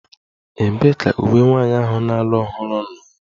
Ebee ka uwe nwanyị ahụ na-alụ ọhụrụ nọ?